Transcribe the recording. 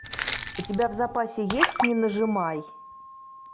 у тебя в запасе есть не нажимай